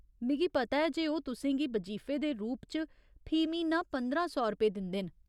मिगी पता ऐ जे ओह् तुसें गी बजीफे दे रूप च फी म्हीना पंदरां सौ रपे दिंदे न।